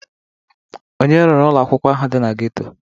Onye ruru ụlọ akwụkwọ ahụ dị na geto?